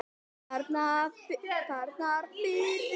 Bjarnarfirði